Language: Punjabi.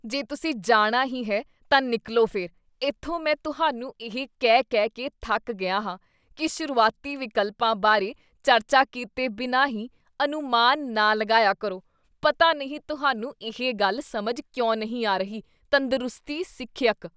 ਜੇ ਤੁਸੀਂ ਜਾਣਾ ਹੀ ਹੈ ਤਾਂ ਨਿਕਲ਼ੋ ਫਿਰ ਇੱਥੋਂ ਮੈਂ ਤੁਹਾਨੂੰ ਇਹ ਕਹਿ ਕਹਿ ਕੇ ਥੱਕ ਗਿਆ ਹਾਂ ਕੀ ਸ਼ੁਰੂਆਤੀ ਵਿਕਲਪਾਂ ਬਾਰੇ ਚਰਚਾ ਕੀਤੇ ਬਿਨਾਂ ਹੀ ਅਨੁਮਾਨ ਨਾ ਲਗਾਇਆ ਕਰੋ, ਪਤਾ ਨਹੀਂ ਤੁਹਾਨੂੰ ਇਹ ਗੱਲ ਸਮਝ ਕਿਉਂ ਨਹੀਂ ਆ ਰਹੀ ਤੰਦਰੁਸਤੀ ਸਿੱਖਿਅਕ